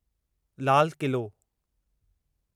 लाल क़िलो